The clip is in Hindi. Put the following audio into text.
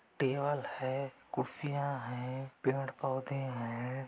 टेबल है कुर्सियाँ हैं पेड़-पौधे हैं।